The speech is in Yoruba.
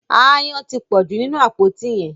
Aáyán tí pọju nínú àpótí yén.